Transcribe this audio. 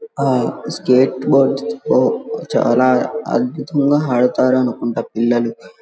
ఆ చాలా అద్భుతంగా ఆడతారు అనుకుంటా పిల్లలు .